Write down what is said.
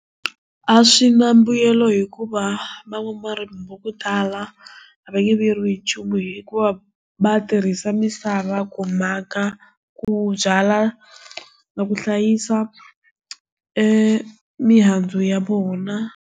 A swi na mbuyelo hikuva van'warimi vakutala a va hi nchumu hikuva va tirhisa misava kumaka ku byala na ku hlayisa emihandzu ya vona.